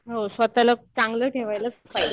हो. स्वतःला चांगलं ठेवायलाच पाहिजे.